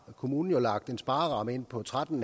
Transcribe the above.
kommunen lagt en sparreramme ind på tretten